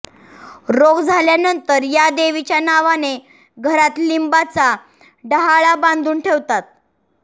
रोग झाल्या नंतर या देवीच्या नावाने घरात लिंबाचा डाहाळा बांधून ठेवतात